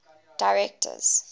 directors